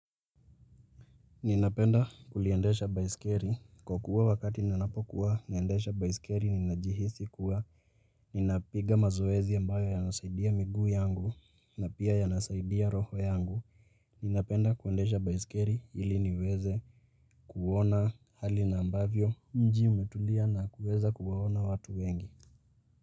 Ninapenda kuliendesha baisikeli kwa kuwa wakati ninapokuwa naendesha baisikeli ninajihisi kuwa Ninapiga mazoezi ambayo yanasaidia miguu yangu na pia yanasaidia roho yangu Ninapenda kuendesha baisikeli ili niweze kuona hali na ambavyo mji umetulia na kuweza kuwaona watu wengi.